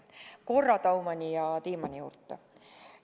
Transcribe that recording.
Tulen korra Daumani ja Tiimanni juurde.